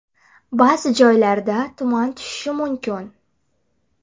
Ba’zi joylarda tuman tushishi mumkin.